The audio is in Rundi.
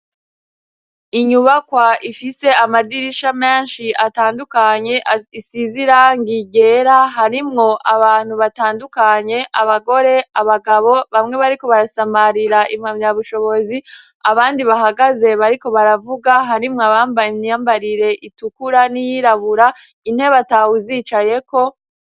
Inyubakwa ifise amadirisha menshi atandukanye isize irangi ryera harimwo abantu batandukanye abagore, abagabo bamwe bariko barasamarira impamya bushobozi abandi bahagaze bariko baravuga harimwo abambaye imyambarire itukura n'iyirabura intebe atawuzicayeko.